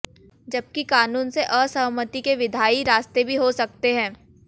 जबकि कानून से असहमति के विधायी रास्ते भी हो सकते हैं